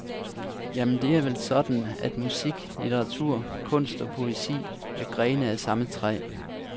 Jamen, det er vel sådan, at musik, litteratur, kunst og poesi er grene på samme træ.